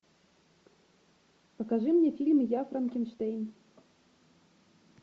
покажи мне фильм я франкенштейн